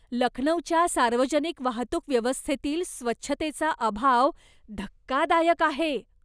लखनौच्या सार्वजनिक वाहतूक व्यवस्थेतील स्वच्छतेचा अभाव धक्कादायक आहे.